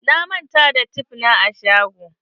Na manta da tef na a shago.